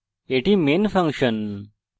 এটি main function